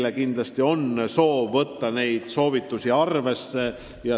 Ja kindlasti on soov neid ettepanekuid arvesse võtta.